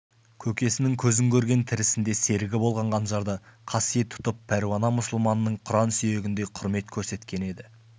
көкесінің көзін көрген тірісінде серігі болған қанжарды қасиет тұтып пәруана мұсылманның құран сүйгеніндей құрмет көрсеткені еді